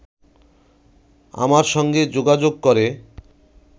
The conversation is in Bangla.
আমার সঙ্গে যোগাযোগ করে